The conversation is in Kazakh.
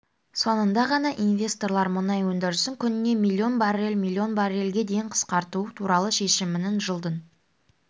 соңында ғана инвесторлар мұнай өндірісін күніне миллион баррель миллион баррельге дейін қысқарту туралы шешімінің жылдың